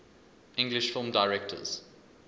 english film directors